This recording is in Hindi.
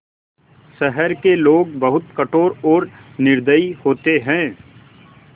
शहर के लोग बहुत कठोर और निर्दयी होते हैं